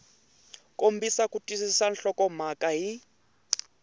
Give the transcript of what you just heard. kombisa ku twisisa nhlokomhaka hi